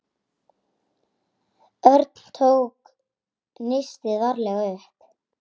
Örn tók nistið varlega upp.